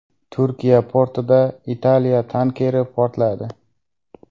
Turkiya portida Italiya tankeri portladi.